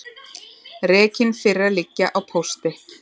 Rekinn fyrir að liggja á pósti